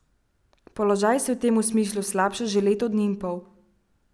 Položaj se v tem smislu slabša že leto dni in pol.